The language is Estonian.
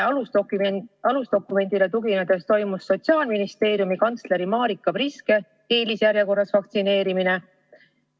Millisele alusdokumendile tuginedes toimus Sotsiaalministeeriumi kantsleri Marika Priske eelisjärjekorras vaktsineerimine?